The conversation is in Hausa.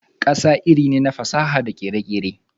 saƙa iri ne na fasaha da kere-kere.